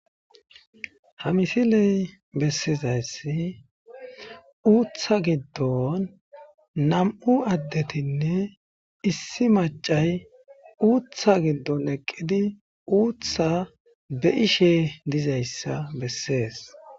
ha misiley bessizayssi uutha giddon nam7u addetinne issi macay uutha giddon eqqidi uutha be ishe dizayssa bessees